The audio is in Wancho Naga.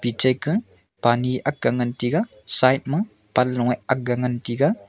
ejeke pani aak ngan taiga side ma panlong aak ngan taiga.